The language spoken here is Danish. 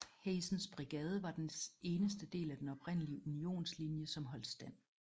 Hazens brigade var den eneste del af den oprindelige Unionslinje som holdt stand